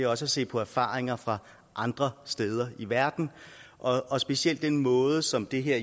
også at se på erfaringer fra andre steder i verden og specielt den måde som det her